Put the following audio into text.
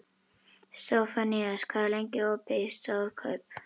Sophanías, hvað er lengi opið í Stórkaup?